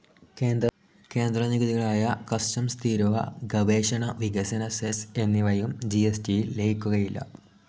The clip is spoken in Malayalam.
കേന്ദ്ര നികുതികളായ കസ്റ്റംസ്‌ തീരുവ, ഗവേഷണ, വികസന സെസ് എന്നിവയും ജിഎസ്‌ടിയിൽ ലയിക്കുകയില്ല.